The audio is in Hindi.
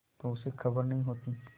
तो उसे खबर नहीं होती